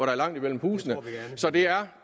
er langt mellem husene så det er